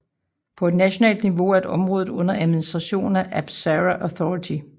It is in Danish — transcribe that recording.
På et nationalt niveau er området under administration af APSARA Authority